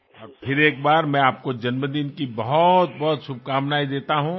আরও একবার আপনার জন্মদিনের অনেক অনেক শুভেচ্ছা জানাই